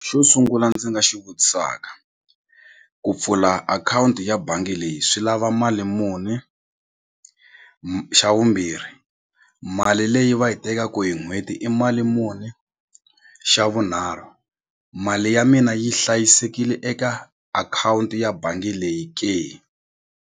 Xo sungula ndzi nga xi vutisaka ku pfula akhawunti ya bangi leyi swi lava mali muni xa vumbirhi mali leyi va yi tekaku hi n'hweti i mali muni xa vunharhu mali ya mina yi hlayisekile eka akhawunti ya bangi leyi ke.